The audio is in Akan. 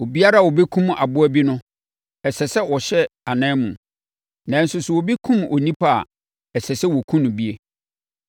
Obiara a ɔbɛkum aboa bi no, ɛsɛ sɛ ɔhyɛ anan mu; nanso sɛ obi kum onipa a, ɛsɛ sɛ wɔkum no bi.